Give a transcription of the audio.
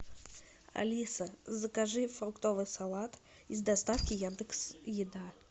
алиса закажи фруктовый салат из доставки яндекс еда